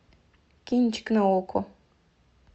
кинчик на окко